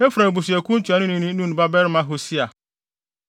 Efraim abusuakuw no ntuanoni ne Nun babarima Hosea;